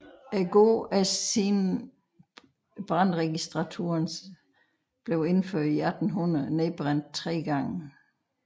Gården er siden brandregistraturens indførelse i 1800 nedbrændt tre gange